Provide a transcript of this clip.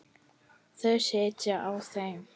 Þau vilja sitja á þeim.